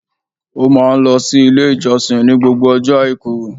Ó máa ń lọ sí Ilé ìjọsìn ní gbogbo ọjọ́ Àìkú